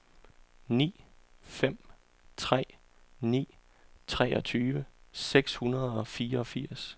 ni fem tre ni treogtyve seks hundrede og fireogfirs